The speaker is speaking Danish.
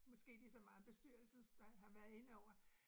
Måske ligeså meget bestyrelsen nej har været inde over